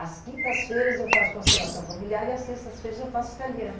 As quintas-feiras eu faço constelação familiar e as sextas-feiras eu faço italiano.